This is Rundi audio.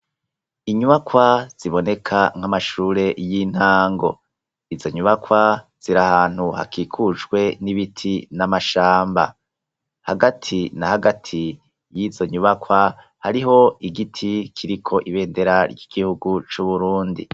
Inyubakwa ziboneka nkamashure yintango, izo nyubakwa zir’ahantu hakikujwe n’ibiti namashamba , hagati nahagati yizo nyubakwa hariho igiti kiriko ibendera ry’igihugu c’uburundi.